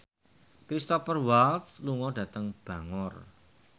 Cristhoper Waltz lunga dhateng Bangor